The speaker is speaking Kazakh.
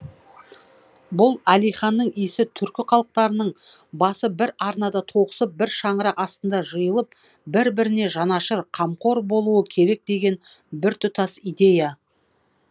бұл әлиханның иісі түркі халықтарының басы бір арнада тоғысып бір шаңырақ астына жиылып бір біріне жанашыр қамқор болуы керек деген біртұтас идея